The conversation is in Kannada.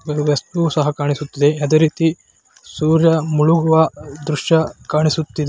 ಒಂದು ವಸ್ತು ಸಹ ಕಾಣಿಸುತ್ತಿದೆ ಅದೆ ರೀತಿ ಸೂರ್ಯ ಮುಳುಗುವ ದೃಶ್ಯ ಕಾಣಿಸುತ್ತಿದೆ.